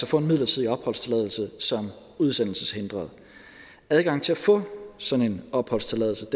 få en midlertidig opholdstilladelse som udsendelseshindret adgangen til at få sådan en opholdstilladelse